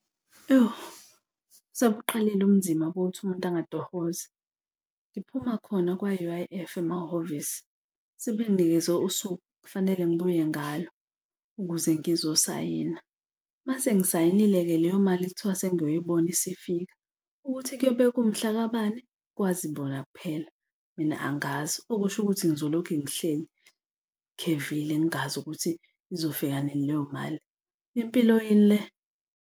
Yho sebuqalile ubunzima bokuthi umuntu angatohozi. Ngiphuma khona kwa-U_I_F emahhovisi sebenginikeze usuke kufanele ngibuye ngalo ukuze ngizosayina. Uma sengisayinile-ke leyo mali kuthiwa sengiyoyibona isifika, ukuthi kuyobe kungumhlakabani kwazi bona kuphela. Mina angazi, okusho ukuthi ngizolokhu ngihlezi ngikhevile, ngingazi ukuthi izofika nini leyo mali. Impilo yini le?